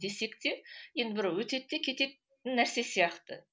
десек те енді бір өтеді де кететін нәрсе сияқты